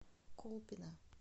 колпино